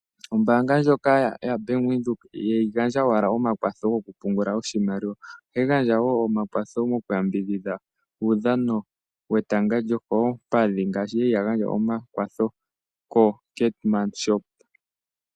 Ombaanga ndjoka yaBank Windhoek ihayi gandja owala omakwatho gokupungula oshimaliwa, ohayi gandja omakwatho gokuyambidhidha etanga lyokoompadhi ngaashi ya li ya gandja omakwatho koKeetmanshoop.